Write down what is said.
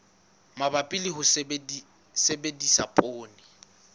mabapi le ho sebedisa poone